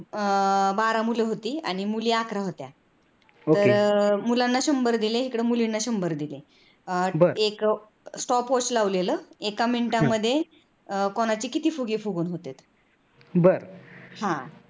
बारा मुल होते आणि मुली अकरा होत्या तर मुलांना शंभर दिले इकडे मुलींना शंभर दिले एक stopwatch लावलेल एका minute मध्ये कोणाचे किती फुगे फुगवून होतेत.